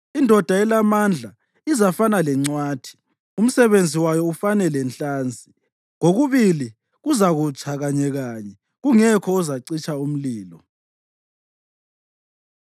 Indoda elamandla izafana lencwathi, umsebenzi wayo ufane lenhlansi; kokubili kuzakutsha kanyekanye, kungekho ozacitsha umlilo.”